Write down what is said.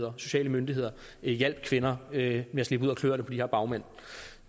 og sociale myndigheder hjalp kvinder med at slippe ud af kløerne på de her bagmænd